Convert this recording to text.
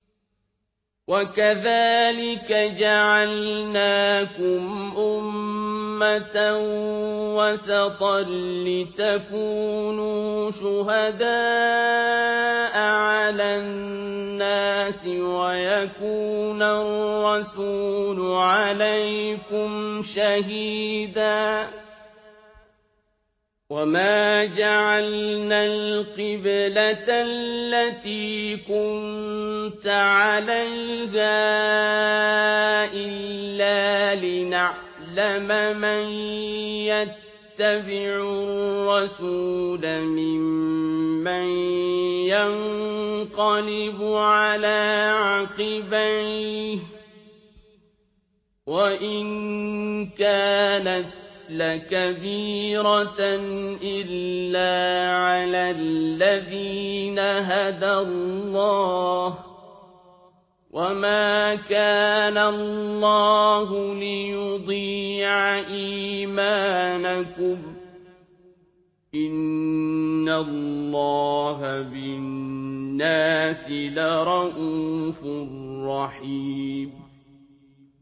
وَكَذَٰلِكَ جَعَلْنَاكُمْ أُمَّةً وَسَطًا لِّتَكُونُوا شُهَدَاءَ عَلَى النَّاسِ وَيَكُونَ الرَّسُولُ عَلَيْكُمْ شَهِيدًا ۗ وَمَا جَعَلْنَا الْقِبْلَةَ الَّتِي كُنتَ عَلَيْهَا إِلَّا لِنَعْلَمَ مَن يَتَّبِعُ الرَّسُولَ مِمَّن يَنقَلِبُ عَلَىٰ عَقِبَيْهِ ۚ وَإِن كَانَتْ لَكَبِيرَةً إِلَّا عَلَى الَّذِينَ هَدَى اللَّهُ ۗ وَمَا كَانَ اللَّهُ لِيُضِيعَ إِيمَانَكُمْ ۚ إِنَّ اللَّهَ بِالنَّاسِ لَرَءُوفٌ رَّحِيمٌ